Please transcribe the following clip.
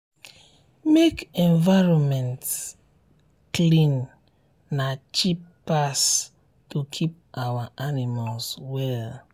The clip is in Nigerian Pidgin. make um environment clean na cheap pass to keep our animals well.